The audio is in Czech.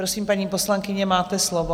Prosím, paní poslankyně, máte slovo.